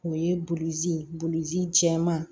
O ye bulzi ye bulon jɛman